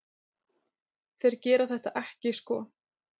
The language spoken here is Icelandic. Þeir gera þetta ekki sko.